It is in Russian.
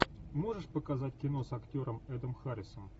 можешь показать кино с актером эдом харрисом